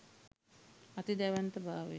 අති දැවැන්ත භාවය